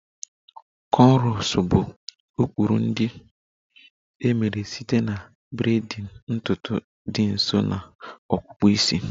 Cornrows bụ ụkpụrụ ndị e mere site na braiding ntutu dị nso na akpụkpọ isi.